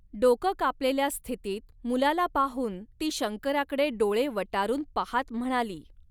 डोक कापलेल्या स्थितीत मुलाला पाहून ती शंकराकडे डोळे वटारून पहात म्हणाली.